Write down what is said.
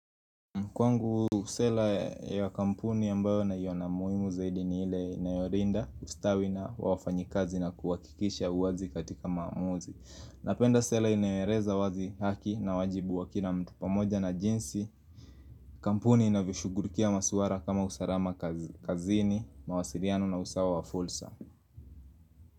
Kwangu sela ya kampuni ambayo naiyona muhimu zaidi ni ile inayolinda ustawi na wafanyikazi na kuhakikisha uwazi katika maamuzi. Napenda sela inayoeleza wazi haki na wajibu wakila mtu pamoja na jinsi. Kampuni inavyoshugulikia maswala kama usalama kazini, mawasiliano na usawa wa fursa.